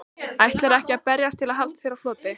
Ætlarðu ekki að berjast til að halda þér á floti?